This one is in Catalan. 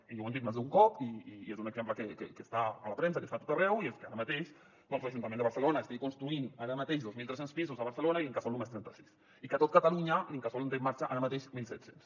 i ja ho hem dit més d’un cop i és un exemple que està a la premsa i que està a tot arreu i és que ara mateix doncs l’ajuntament de barcelona estigui construint ara mateix dos mil tres cents pisos a barcelona i l’incasòl només trenta sis i que a tot catalunya l’incasòl en té en marxa ara mateix mil set cents